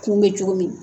Kun bɛ cogo min